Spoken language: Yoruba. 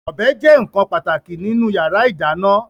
Ọ̀bẹ jẹ́ nkan pàtàkì nínú yàrá ìdáná